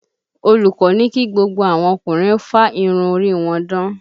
Olùkọ́ ní kí gbogbo àwọn ọkùnrin ó fá irun orí wọn dán